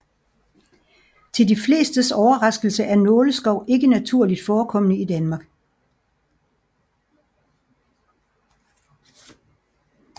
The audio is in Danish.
Til de flestes overraskelse er nåleskov ikke naturligt forekommende i Danmark